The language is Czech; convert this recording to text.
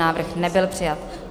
Návrh nebyl přijat.